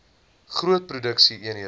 groot produksie eenhede